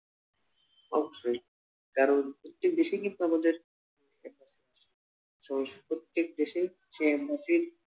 হোক সে কারণ প্রত্যেক দেশেই কিন্তু আমাদের একটা প্রত্যেক দেশেই সেই মৌখিক